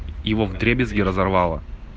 его вдребезги разорвало